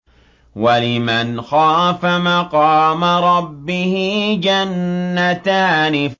وَلِمَنْ خَافَ مَقَامَ رَبِّهِ جَنَّتَانِ